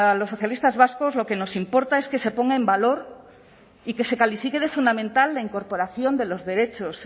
los socialistas vascos lo que nos importa es que se ponga en valor y que se califique de fundamental la incorporación de los derechos